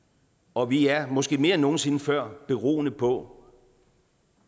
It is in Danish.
og vi er måske mere end nogen sinde før beroende på